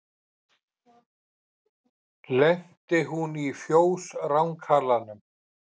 Lenti hún í fjós rangalanum.